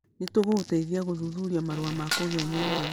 Nĩ tũgũgũteithia gũthuthuria marũa ma kũgia nyũmba.